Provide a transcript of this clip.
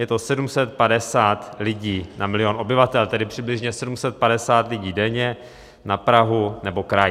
Je to 750 lidí na milion obyvatel, tedy přibližně 750 lidí denně na Prahu nebo kraj.